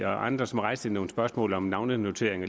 og andre rejste nogle spørgsmål om navnenotering